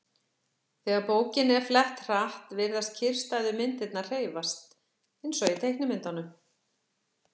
Þegar bókinni er flett hratt virðast kyrrstæðu myndirnar hreyfast, eins og í teiknimyndum.